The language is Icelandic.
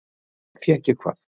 Fékk ég hvað?